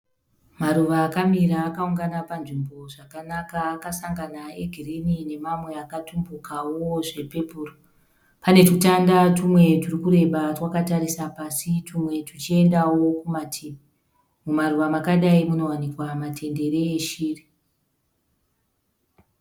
Maruva akamira akaungana panzvimbo zvakanaka akasangana egirini nemamwe akatumbukawo zvepepuru. Pane tutanda tumwe turikureba twakatarisa pasi twumwe tuchiendawo kumativi. Mumaruva makadai munowanikwa matendere eshiri.